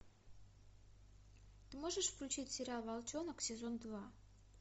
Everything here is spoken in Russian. ты можешь включить сериал волчонок сезон два